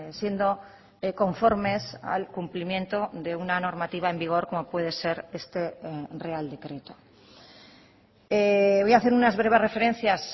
siendo conformes al cumplimiento de una normativa en vigor como puede ser este real decreto voy a hacer unas breves referencias